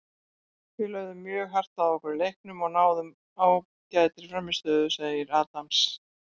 Við lögðum mjög hart að okkur í leiknum og náðum ágætri frammistöðu, sagði Adams.